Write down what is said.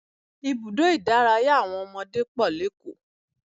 Ibùdó ìdárayá àwọn ọmọdé pọ̀ lékòó